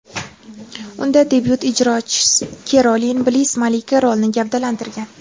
Unda debyut ijrochi Kerolin Bliss malika rolini gavdalantirgan.